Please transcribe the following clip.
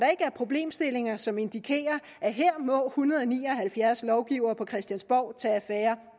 er problemstillinger som indikerer at her må hundrede og ni og halvfjerds lovgivere på christiansborg tage affære